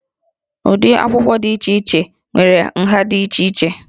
Ụdị akwụkwọ dị iche iche nwere nha ha dị iche iche